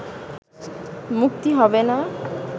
মুক্তি হবে না